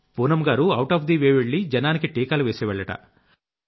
పూనమ్ గారు out of the way వెళ్లి జనానికి టీకాలు వేసేవాళ్లట